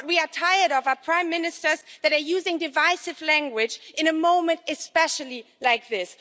What we are tired of are prime ministers that are using divisive language at a time, especially, like this.